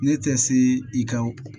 Ne tɛ se i ka